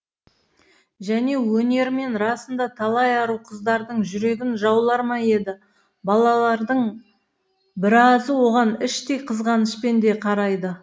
және өнерімен расында талай ару қыздардың жүрегін жаулар ма еді балалардың біразы оған іштей қызғанышпен де қарайды